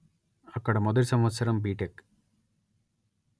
అక్కడ మొదటి సంవత్సరం బిటెక్